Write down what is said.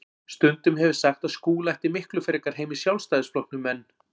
Stundum hef ég sagt að Skúli ætti miklu frekar heima í Sjálfstæðisflokknum en